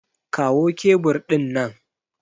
Kawo kebur ɗin nan!